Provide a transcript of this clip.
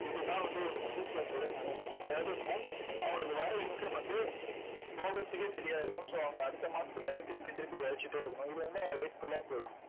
இதுதான் வந்து ஒரு middle class ஓட நிலைமை. அதாவது என்னன்னா அவங்களுக்கு வர income வந்து போகறதுக்கே சரியா இருக்கும். so அவங்க அடுத்த மாசத்துக்காகத் திருப்பி திருப்பி உழைச்சிட்டே இருக்கணும். இது வந்து life full ஆ போகும்